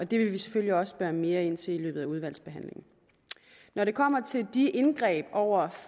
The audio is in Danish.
det vil vi selvfølgelig også spørge mere ind til i løbet af udvalgsbehandlingen når det kommer til de indgreb over